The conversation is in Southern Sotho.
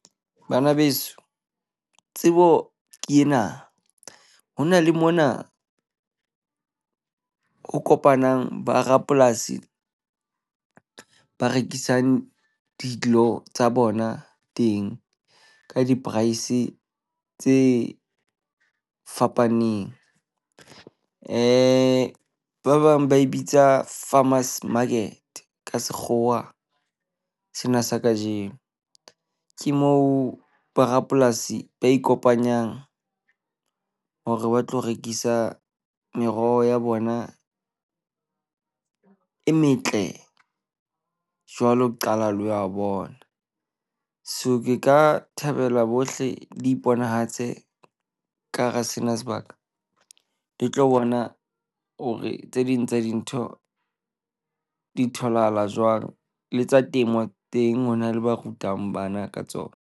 Bana beso, tsebo ke ena. Ho na le mona o kopanang ba rapolasi ba rekisang dilo tsa bona teng ka di-price tse fapaneng. , ba bang ba e bitsa Farmers Market ka Sekgowa sena sa kajeno. Ke moo borapolasi ba ikopanyang hore ba tlo rekisa meroho ya bona e metle jwalo qala le wa bona. So ke ka thabela bohle le iponahatse ka hara sena sebaka le tlo bona hore tse ding tsa dintho di tholahala jwang le tsa temo teng ho na le ba rutang bana ka tsona.